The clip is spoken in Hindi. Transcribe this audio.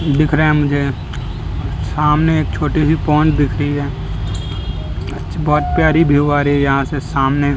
दिख रहा है मुझे सामने एक छोटी सी पोंड दिख रही है बहुत प्यारी व्यू आ रही है यहाँ से सामने --